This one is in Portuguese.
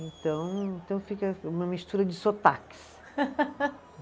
Então, então fica uma mistura de sotaques.